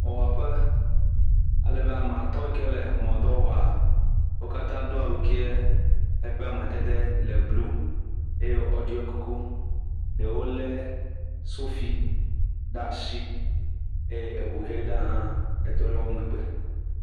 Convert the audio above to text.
Dɔwɔƒe ael be ame atɔ̃ yi ke le emɔ dɔ wɔm wo katã do awu yi ke eƒe amadede le blu eye woɖɔ kuku eye ɖewo lé sofi ɖe asi eye eŋu ʋe ɖe hã tɔ ɖe wo megbe.